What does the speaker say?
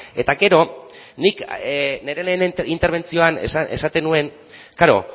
eta gero nik nire lehen interbentzioan esaten nuen klaro